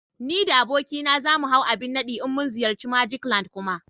Ni da abokina za mu hau abin nadi in mun ziyarci "magic land" Kuma